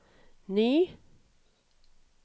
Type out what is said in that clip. ny